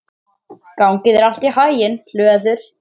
Gangi þér allt í haginn, Hlöður.